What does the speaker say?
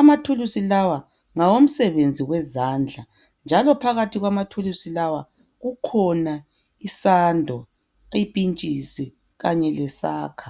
Amathulusi lawa ngawomsebenzi wezandla, njalo phakathi kwamathulusi lawa kukhona isando, ipintshisi kanye lesaka.